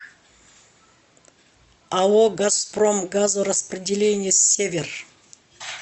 ао газпром газораспределение север